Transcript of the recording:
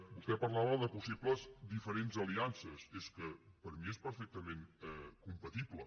vostè parlava de possibles diferents aliances és que per mi és perfectament compatible